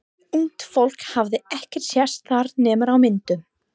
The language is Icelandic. Ungt fólk hafði ekki sést þar nema á myndum.